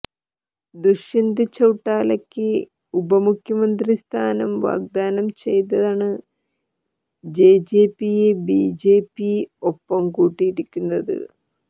ദുഷ്യന്ത് ചൌട്ടാലക്ക് ഉപമുഖ്യമന്ത്രി സ്ഥാനം വാഗ്ദ്ധാനം ചെയ്താണ് ജെജെപിയെ ബിജെപി ഒപ്പംകൂട്ടിയിരിക്കുന്നത്